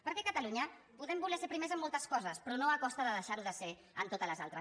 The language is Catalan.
perquè a catalunya podem voler ser primers en moltes coses però no a costa de deixar ho de ser en totes les altres